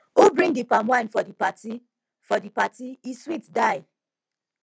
who bring di palmwine for di party for di party e sweet die